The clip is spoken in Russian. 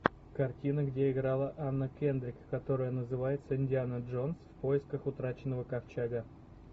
картина где играла анна кендрик которая называется индиана джонс в поисках утраченного ковчега